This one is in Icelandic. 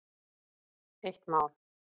Eitt mál.